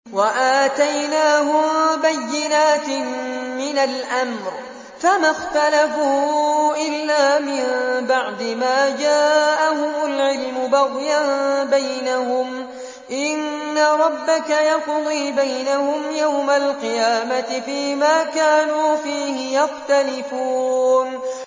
وَآتَيْنَاهُم بَيِّنَاتٍ مِّنَ الْأَمْرِ ۖ فَمَا اخْتَلَفُوا إِلَّا مِن بَعْدِ مَا جَاءَهُمُ الْعِلْمُ بَغْيًا بَيْنَهُمْ ۚ إِنَّ رَبَّكَ يَقْضِي بَيْنَهُمْ يَوْمَ الْقِيَامَةِ فِيمَا كَانُوا فِيهِ يَخْتَلِفُونَ